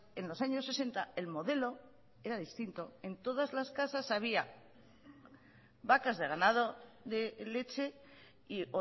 en los años sesenta el modelo era distinto en todas las casas había vacas de ganado de leche y